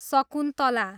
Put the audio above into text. Shakuntala